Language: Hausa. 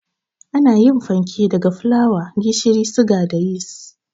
Ana yin fanke daga fulawa, gishiri, suga da yis